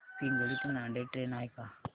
पिंगळी ते नांदेड ट्रेन आहे का